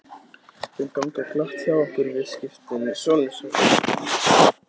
Þau ganga glatt hjá okkur viðskiptin, sonur sæll.